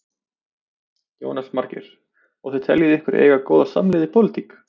Jónas Margeir: Og þið teljið ykkur eiga góða samleið í pólitík?